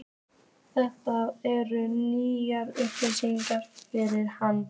Þetta eru nýjar upplýsingar fyrir hana.